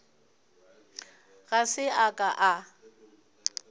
ga se a ka a